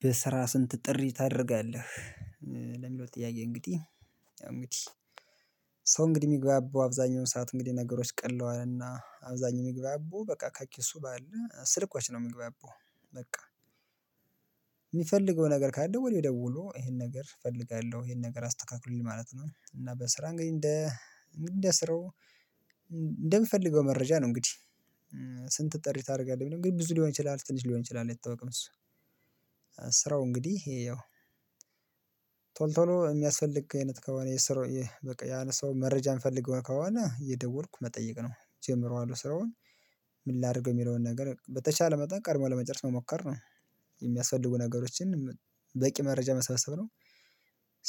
በስራ ስንት ጥሪ ታደርጋለህ? ለሚለው ጥያቄ እንግዲህ እንግዲህ ሰው እንግዲህ የሚግባባው፤ አብዛኛውን ሰዓት እንግዲህ ነገሮች ቀለዋልና፤ አብዛኛው የሚግባባው በቃ ከኪሱ ባለ ስልኮች ነው የምግባበው በቃ። ነገር ካለ ደውሎ ደውሎ ይሄን ነገር እፈልጋለሁ፤ ይሄን ነገር አስተካክሉልኝ ማለት ነው። እና በስራ እንግዲህ እንደ እንደ ስራው እንደምፈልገው መረጃ ነው። እንግዲህ ስንት ጥሪ ታደርጋለህ እንግዲህ ብዙ ሊሆን ይችላል፤ ትንሽ ሊሆን ይችላል የታወቀው እሱ። ስራው እንግዲህ ይኸው ቶል ቶሎ የሚያስፈልግ አይነት ከሆነ የስራው በቃ ያለ ሰው መረጃ የምፈልገው ከሆነ የደወልኩ መጠየቅ ነው። ጀምረዋለሁ ስራውን ምን ላድርገው የሚለውን ነገር በተቻለ መጠን ቀድሞ ለመጨረስ መሞከር ነው። የሚያስፈልጉ ነገሮችን በቂ መረጃ መሳሰብ ነው።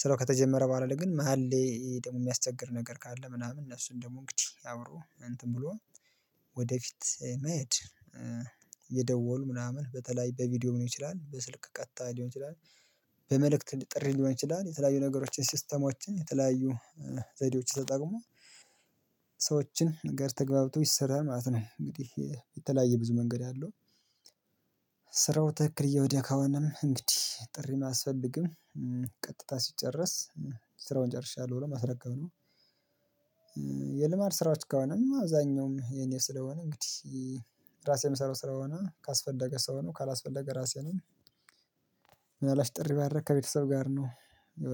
ስራው ከተጀመረ በኋላ ላይ ግን መሃል ላይ ደግሞ የሚያስቸግር ነገር ካለ፤ ምናምን እነሱን ደግሞ እንግዲህ አብሮ እንትን ብሎ ወደፊት መሄድ እየደወሉ ምናምን በተለይ በቪዲዮ ምን ይችላል፤ በስልክ ቀጥታ ሊሆን ይችላል፤ በመልእክት ጥሪ ሊሆን ይችላል፤ የተለያዩ ነገሮችን ሲስተሞችን የተለያዩ ዘደዎች ተጠቅሞ ከሰዎች ጋር ተገብቶ ይሰራል ማለት ነው። እንግዲህ የተለያየ ብዙ መንገድ አለው ስራው ተክክል እየሄደ ከሆነም እንግዲህ ጥሪ ማስፈለግም። ቀጥታ ሲጨርስ ስራውን ጨርሻለሁ ብሎ ማስረከብ ነው። የልማድ ስራዎች ከሆነም አብዛኛውም የኔ ስለሆነ እንግዲህ ራሴ የምሰራው ስለሆነ ካስፈለገ ሰው ነው፤ ካላስፈለገ ራሴ ነኝ፤ ምናልባት ጥሪ ባደረግ ከቤተሰብ ጋር ነው።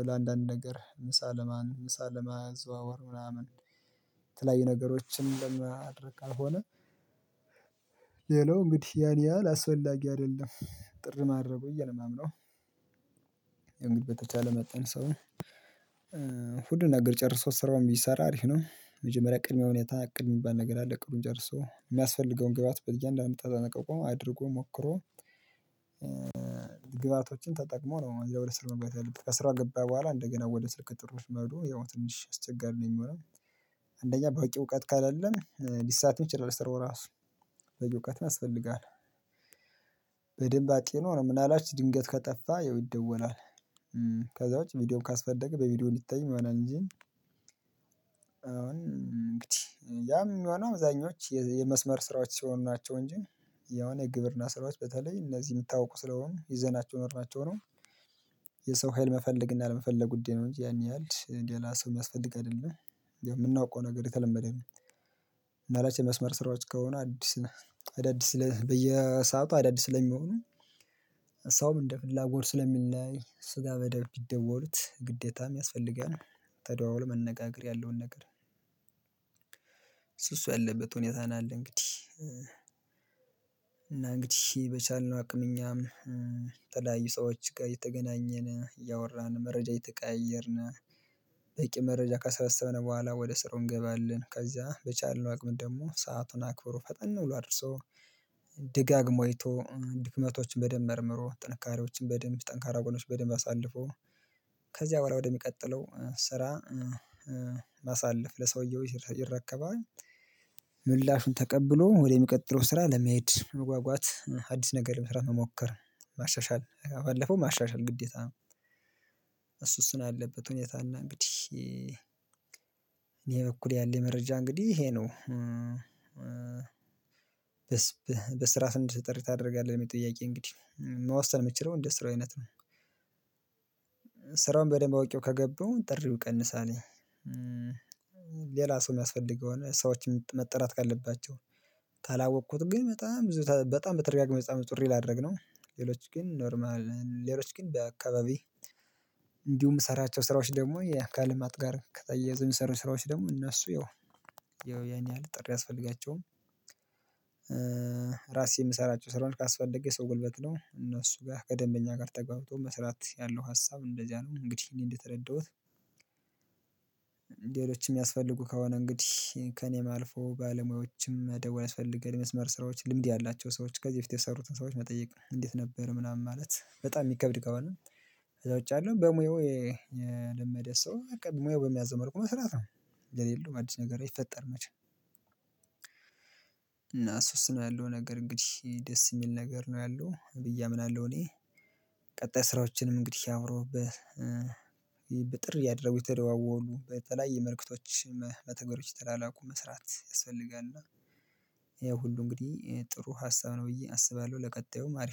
ለአንዳንድ ነገር ምሳ ለማን ምሳ ለምን ዘዋወር ምናምን ተለያዩ ነገሮችን ለማድረግ ከሆነ፤ ሌላው እንግዲህ ያን ያህል አስወላጊ አይደለም። ጥር ማረጉ እየለማመነው እንግዲህ በተቻለ መጠን ሰው ነው እሁድ ነገር ጨርሶ ስራውን ቢሰራ አሪፍ ነው። መጀመሪያ ቅድመ ሁኔታ ቅድመ የሚባል ነገር አለ ቅዱን ጨርሶ ግብአት በእያንዳንዱ ተጠንቅቆ አድርጎ፤ ሞክሮ ግብአቶችን ተጠቅሞ ነው ወደ ስር መግባት ያለብን። ከስራ ገባ በኋላ እንደገና ወደ ስልክ ጥሪ መሄዷ ያው ትንሽ አስቸጋሪ ነው የሚሆነው። አንደኛ በቂ እውቀት ካለለህ ሊሳትም ይችላል ስራው ራሱ፤ በቂ እውቀት ያስፈልጋል። በደንብ አጥኖ ነው ምን አላችሁ ድንገት ከጠፋ ይደወላል ከዛ ውጪ ቪዲዮን ካስፈለገ በቪዲዮ ሊጠይቅ ይሆናል እንጂ አሁን እንግዲህ ያም የሚሆነው አብዛኞቹ የመስመር ስራዎች ሲሆኑ ናቸው እንጂ፤ የሆነ ግብርና ስራዎች በተለይ እነዚህ የምታውቁ ስለሆኑ ይዘናቸው ኖርናቸው ነው። የሰው ሀይል መፈለግ እና አለመፈለግ ጉዳይ ነው እንጂ ያን ያህል ሌላ ሰው የሚያስፈልግ አይደለም የምናውቀው ነገር የተለመደ ነው። እና የመስመር ስራዎች ከሆኑ አዲስ አዳዲስ ስለ በየሰአቱ አዳዲስ ስለሚሆኑ፤ ሳውም እንደ ፍላጎት ስለሚል ላይ ስጋ በደብቅ ይደወሉት ግዴታም ያስፈልጋል። ተደዋዉሎ መነጋገር ያለውን ነገር እሱ እሱ ያለበት ሁኔታ ነው አለ እንግዲህ። እና እንግዲህ በቻልነው አቅምኛም ተለያዩ ሰዎች ጋር የተገናኘን፤ እያወራን መረጃ የተቀየርነው፤ በቂ መረጃ ከሰበሰበን በኋላ ወደ ስሩ እንገባለን። ከዛ በቻልነው አቅም ደግሞ ሰአቱን አክብሮ፤ ፈጠን ብሎ አድርሶ ደጋግሞ አይቶ ድክመቶችን በደንብ መርምሮ፤ ጥንካሬዎችን በደንብ ጠንካራ ጎኖችን በደንብ አሳልፎ፤ ከዚያ በኋላ ወደሚቀጥለው ስራ ማሳለፍ ለሰውየው ይረከባል፤ ምላሹን ተቀብሎ ወደሚቀጥለው ስራ ለመሄድ መጓጓት አዲስ ነገር መስራት መሞከር ማሻሻል ባለፈው ማሻሻል ግዴታ ነው። እሱ እሱን አለበት ሁኔታ እና እንግዲህ እኔ በኩል ያለ መረጃ እንግዲህ ይሄ ነው። በስራ ዘንድ ጥሪ ታደርጋለህ? ለምል የጥያቄ እንግዲህ መወሰን መቻልው እንደ ስራው አይነት ነው። በደንብ አውቄው ከገባውኝ ጥሪውን ቀንሳለውኝ። ሌላ ሰው የሚያስፈልገው ሰዎችን መጠራት ካለባቸው ታላወቅኩት ግን በጣም በጣም በተደጋጋሚ ጥሪ ላድርግ ነው። ሌሎች ግን ኖርማል ሌሎች ግን በአካባቢ እንዲሁም ሰራቸው ስራዎች ደግሞ የአካል ማጥ ጋር ከተያዘ የሚሰሩ ስራዎች ደግሞ እነሱ ያው ያን ያህል ጥሪ አስፈልጋቸውም። ራሴ የምሰራቸው ስራውን ካስፈለገ ሰው ጉልበት ነው እነሱ ጋር ከደንበኛ ጋር ተጋብቶ መስራት ያለው ሀሳብ እንደዚያ ነው እንግዲህ እኔ እንደተረዳሁት። ላይ የሚያስፈልጉ ከሆነ እንግዲህ ከእኔ የማልፈው ባለሙያዎችም ደወለ ያስፈልገን የመስመር ስራዎች ልምድ ያላቸው ሰዎች ከዚህ በፊት የሰሩትን ሰዎች መጠየቅ እንዴት ነበር ምናምን ማለት። በጣም የሚከብድ ከሆነ ከዛ ውጪ አለው በሙያው የለመደ ሰው ሙያው በሚያዘመርቁ ቁመስራት ነው የሌለው አዲስ ነገር ይፈጠር መቼም እና እሱ እሱ ያለው ነገር እንግዲህ ደስ የሚል ነገር ነው። ያለው ብዬ አምናለሁ እኔ ቀጣይ ስራዎችንም እንግዲህ አብሮህበት አብሮብህ በጥር እያደረጉ የተደዋወሉ በተለይ የመልዕክቶች መተግበሪዎች እየተላላኩ መስራት ያስፈልጋል። እና ይሄ ሁሉ እንግዲህ ጥሩ ሀሳብ ነው ብዬ አስባለሁ ለቀጣዩም።